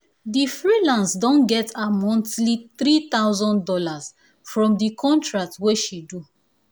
di freelance don get her monthly three thousand dollars from di contract wey she do